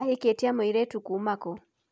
Ahĩkĩtie mũirĩtu kuma kũ?